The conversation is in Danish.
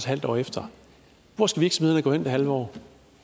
halvt år efter hvor skal virksomhederne gå hen i det halve år